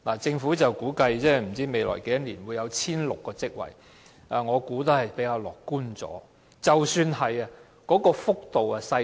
政府估計未來會增加 1,600 個職位，但我認為這種估計比較樂觀，增幅亦很小。